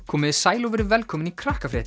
komiði sæl og verið velkomin í